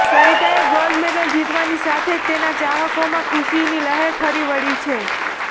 સરિતાએ gold medal જીતવાની સાથે જ તેના ચાહકોમાં ખુશીની લહેર ફરી વળી છે